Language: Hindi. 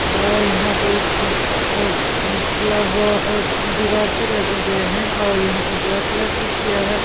और यहां पे अ हम्म अ फ्लावर दीवार पे लगे हुए हैं और यहां पे ब्लैक कलर की चिया है ।